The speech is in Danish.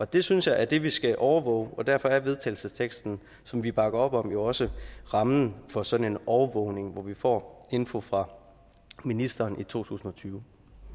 det synes jeg er det vi skal overvåge og derfor er vedtagelsesteksten som vi bakker op om jo også rammen for sådan en overvågning hvor vi får info fra ministeren i totusinde